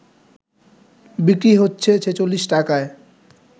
বিক্রি হচ্ছে ৪৬ টাকায়